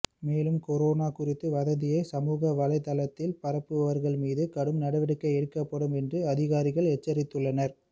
மேலும் கொரோனா குறித்த வதந்தியை சமூக வலைத்தளத்தில் பரப்புபவர்கள் மீது கடும் நடவடிக்கை எடுக்கப்படும் என்றும் அதிகாரிகள் எச்சரித்துள்ளனர்